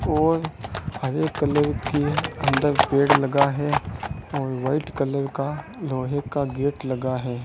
और हरे कलर की अंदर पेड़ लगा है और वाइट कलर का लोहे का गेट लगा है।